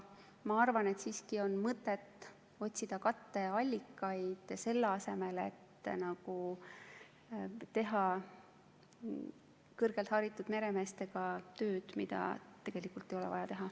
Ma arvan, et siiski on mõtet otsida katteallikaid, selle asemel et teha kõrgelt haritud meremeestega tööd, mida tegelikult ei ole vaja teha.